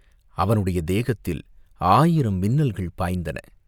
அவனுடைய தேகத்தில் ஆயிரம் மின்னல்கள் பாய்ந்தன.